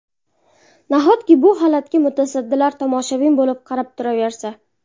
Nahotki, bu holatga mutasaddilar tomoshabin bo‘lib qarab turaversa?